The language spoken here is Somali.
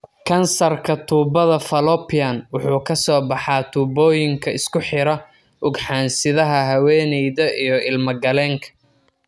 Kansarka tubbada fallopian wuxuu ka soo baxaa tuubooyinka isku xira ugxan-sidaha haweeneyda iyo ilmo-galeenka.